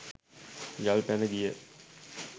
යල් පැණ ගිය